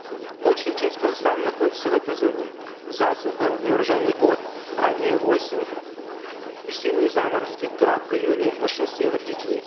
большая часть казахстана находится в этой зоне засуха неурожайный год ранняя осень весенние заморозки град в июле нашествие вредителей